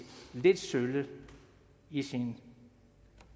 lidt sølle i sine